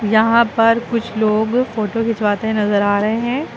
यहां पर कुछ लोग फोटो खिंचवाते नजर आ रहे है।